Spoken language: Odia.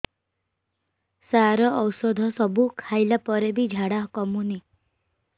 ସାର ଔଷଧ ସବୁ ଖାଇଲା ପରେ ବି ଝାଡା କମୁନି